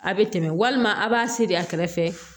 A bɛ tɛmɛ walima a b'a seri a kɛrɛfɛ